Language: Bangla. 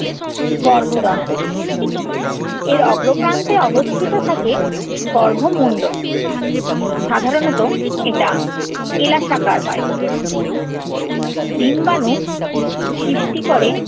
গর্ভদন্ড। এর অগ্রপ্রান্তে অবস্থিত থাকে গর্ভমুণ্ড। সাধারণত এটা কেলাসাকার হয়। ডিম্বাণু সৃষ্টি করে